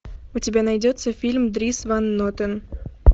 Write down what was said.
у тебя найдется фильм дрис ван нотен